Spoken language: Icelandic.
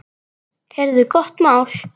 Heyrðu gott mál.